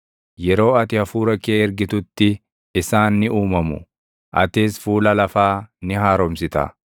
Yeroo ati Hafuura kee ergitutti isaan ni uumamu; atis fuula lafaa ni haaromsita.